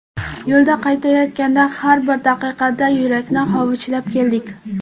Yo‘lda qaytayotganda har bir daqiqada yurakni hovuchlab keldik.